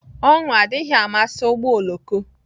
Ọṅụ adịghị amasị ụgbọ oloko